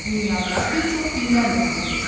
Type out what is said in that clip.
Dünyada bir çox dinlər mövcuddur.